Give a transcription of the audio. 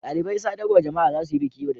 Dalibain sadarwa jama'a za su yi biki yau da dare.